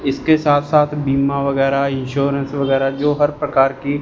इसके साथ साथ बीमा वगैरा इंश्योरेंस वगैरा जो हर प्रकार की--